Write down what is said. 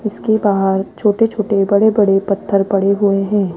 इसके बाहर छोटे छोटे बड़े बड़े पत्थर पड़े हुए हैं।